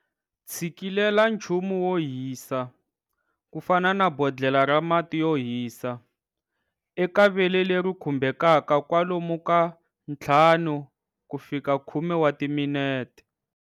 Tshikilela nchumu wo hisa ku fana na bodlhela ra mati yo hisa, eka vele leri khumbhekaka kwalomu ka 5-10 wa timinete.